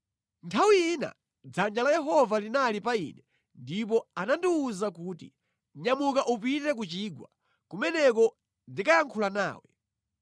Nthawi ina dzanja la Yehova linali pa ine ndipo anandiwuza kuti, “Nyamuka upite ku chigwa, kumeneko ndikayankhula nawe.”